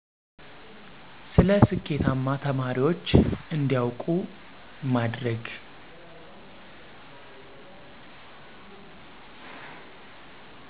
ስለ ስኬታማ ተማሪወች እንዲያወቁ ማድርግ